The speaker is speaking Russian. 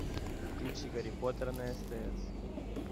включи гарри поттер на стс